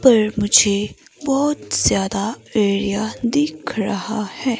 पर मुझे बहुत ज्यादा एरिया दिख रहा है।